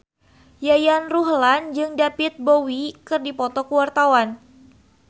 Yayan Ruhlan jeung David Bowie keur dipoto ku wartawan